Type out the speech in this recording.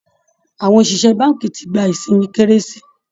Àwọn òṣìṣẹ́ báńkì ti gba isinmi kérésì